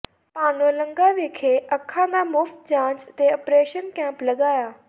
ਭਾਣੋਲੰਗਾ ਵਿਖੇ ਅੱਖਾਂ ਦਾ ਮੁਫ਼ਤ ਜਾਂਚ ਤੇ ਆਪ੍ਰੇਸ਼ਨ ਕੈਂਪ ਲਗਾਇਆ